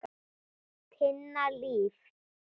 Tinna Líf.